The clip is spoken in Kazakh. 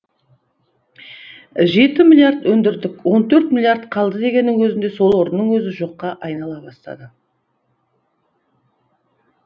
жеті миллиард өндірдік он төрт миллиард қалды дегеннің өзінде сол орынның өзі жоққа айнала бастады